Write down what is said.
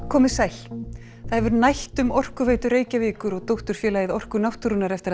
komið sæl það hefur nætt um Orkuveitu Reykjavíkur og dótturfélagið Orku náttúrunnar eftir